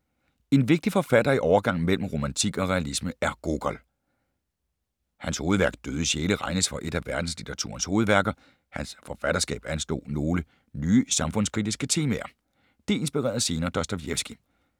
En vigtig forfatter i overgangen mellem romantik og realisme er Gogol. Hans hovedværk Døde sjæle regnes for et af verdenslitteraturens hovedværker. Hans forfatterskab anslog nogle nye samfundskritiske temaer. Det inspirerede senere Dostojevskij.